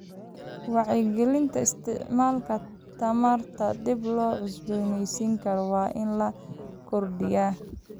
Wacyigelinta isticmaalka tamarta dib loo cusbooneysiin karo waa in la kordhiyaa.